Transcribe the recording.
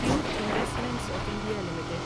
tube investments of India limited